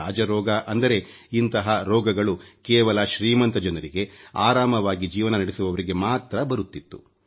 ರಾಜರೋಗ ಅಂದರೆ ಇಂತಹ ರೋಗಗಳು ಕೇವಲ ಶ್ರೀಮಂತ ಜನರಿಗೆ ಆರಾಮವಾಗಿ ಜೀವನ ನಡೆಸುವವರಿಗೆ ಮಾತ್ರ ಬರುತ್ತಿತ್ತು